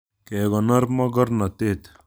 Kekonor mokornotet